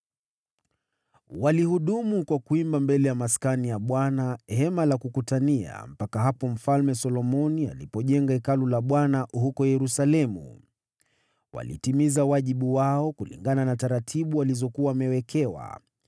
Walihudumu kwa kuimba mbele ya Maskani, Hema la Kukutania, mpaka hapo Mfalme Solomoni alipojenga Hekalu la Bwana huko Yerusalemu. Walitimiza wajibu wao kulingana na taratibu walizokuwa wamewekewa.